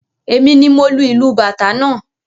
Èmi ni mo lu ìlù Bàtá náà.